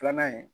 Filanan ye